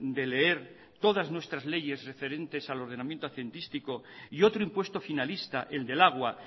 de leer todas nuestras leyes referentes al ordenamiento hacendístico y otro impuesto finalista el del agua